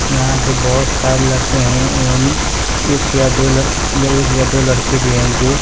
यहां पे बहुत सारे लड़के हैं एवं एक या दो या एक या दो लड़के भी हैं जो--